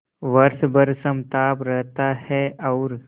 वर्ष भर समताप रहता है और